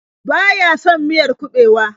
Baya son miyar kuɓewa.